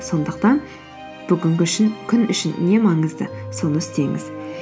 сондықтан бүгінгі күн үшін не маңызды соны істеңіз